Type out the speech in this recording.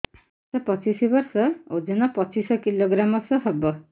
ବୟସ ପଚିଶ ବର୍ଷ ଓଜନ ପଚିଶ କିଲୋଗ୍ରାମସ ହବ